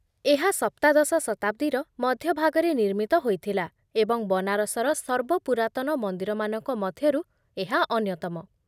ଏହା ସପ୍ତାଦଶ ଶତାବ୍ଦୀର ମଧ୍ୟଭାଗରେ ନିର୍ମିତ ହୋଇଥିଲା ଏବଂ ବନାରସର ସର୍ବ ପୁରାତନ ମନ୍ଦିରମାନଙ୍କ ମଧ୍ୟରୁ ଏହା ଅନ୍ୟତମ।